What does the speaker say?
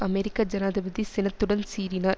அமெரிக்க ஜனாதிபதி சினத்துடன் சீறினார்